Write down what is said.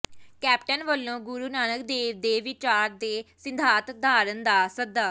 captain ਵੱਲੋਂ ਗੁਰੂ ਨਾਨਕ ਦੇਵ ਦੇ ਵਿਚਾਰ ਤੇ ਸਿਧਾਂਤ ਧਾਰਨ ਦਾ ਸੱਦਾ